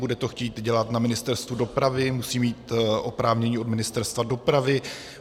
Bude to chtít dělat na Ministerstvu dopravy, musí mít oprávnění od Ministerstva dopravy.